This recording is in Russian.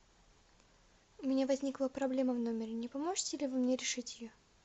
у меня возникла проблема в номере не поможете ли вы мне решить ее